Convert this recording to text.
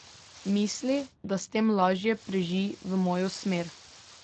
Misli, da s tem lažje preži v mojo smer.